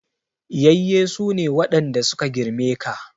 Yayye su ne waɗanda su ka girme ka.